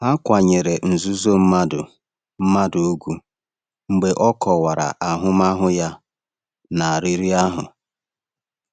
Ha kwanyere nzuzo mmadụ mmadụ ugwu mgbe ọ kọwara ahụmahụ ya na riri ahụ.